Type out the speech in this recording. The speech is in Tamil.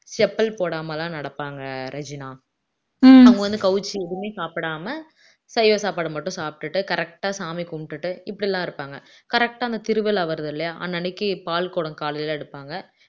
செப்பல் போடாம எல்லாம் நடப்பாங்க ரெஜினா அவங்க வந்து கவிச்சி எதுவுமே சாப்பிடாம சைவம் சைவ சாப்பாடை மட்டும் சாப்பிட்டுட்டு correct ஆ சாமி கும்பிட்டுட்டு இப்படி எல்லாம் இருப்பாங்க correct ஆ அந்த திருவிழா வருது இல்லையா அன்னன்னைக்கு பால்குடம் காலையில எடுப்பாங்க